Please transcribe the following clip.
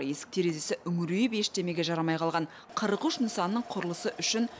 есік терезесі үңірейіп ештемеге жарамай қалған қырық үш нысанның құрылысы үшін